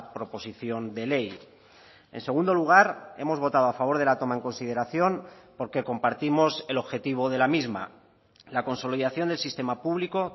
proposición de ley en segundo lugar hemos votado a favor de la toma en consideración porque compartimos el objetivo de la misma la consolidación del sistema público